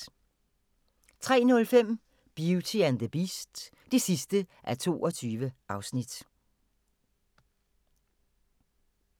03:05: Beauty and the Beast (22:22)